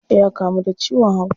Ya kamu da ciwon hauka.